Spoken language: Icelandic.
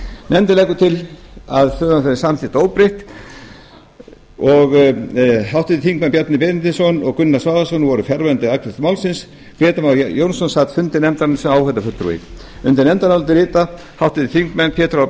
nefndin leggur til að frumvarpið verði samþykkt óbreytt háttvirtur þingmaður bjarni benediktsson og gunnar svavarsson voru fjarverandi við afgreiðslu málsins grétar mar jónsson sat fund nefndarinnar sem áheyrnarfulltrúi undir nefndarálitið rita háttvirtir þingmenn pétur h